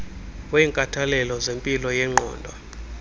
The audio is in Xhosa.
wenkathalelo zempilo yengqondo